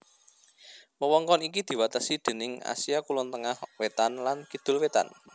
Wewengkon iki diwatesi déning Asia Kulon Tengah Wétan lan Kidul Wétan